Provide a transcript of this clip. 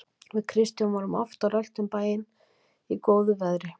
Við Kristján vorum oft á rölti um bæinn í góðu veðri.